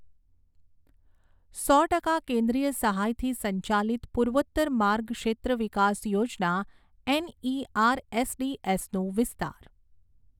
સો ટકા કેન્દ્રીય સહાયથી સંચાલિત પૂર્વોત્તર માર્ગ ક્ષેત્ર વિકાસ યોજના એનઈઆરએસડીએસ નો વિસ્તાર.